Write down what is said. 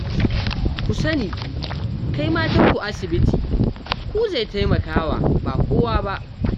Ku sani, kai matanku asibiti ku zai taimaka wa ba kowa ba